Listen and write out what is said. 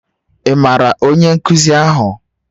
Ị maara onye nkuzi ahụ?